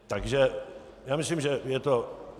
Takže já myslím, že je to...